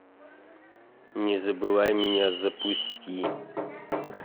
не забывай меня запусти